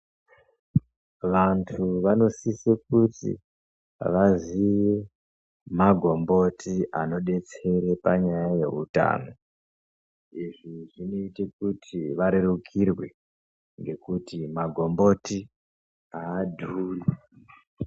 Vantu vanosise kuti vaziye magomboti anodetsere panyaya yeutano, izvi zvinoita kuti varerukirwe ngekuti magomboti aadhuri.